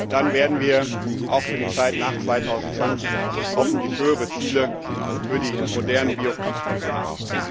Dann werden wir auch für die Zeit nach 2020 hoffentlich höhere Ziele für die modernen Biokraftstoffe haben.